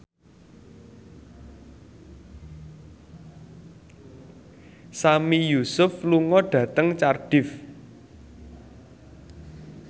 Sami Yusuf lunga dhateng Cardiff